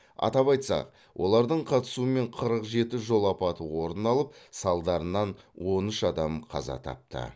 атап айтсақ олардың қатысуымен қырық жеті жол апаты орын алып салдарынан он үш адам қаза тапты